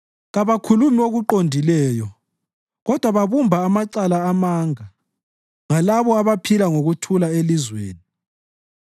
Kabakhulumi okuqondileyo kodwa babumba amacala amanga, ngalabo abaphila ngokuthula elizweni.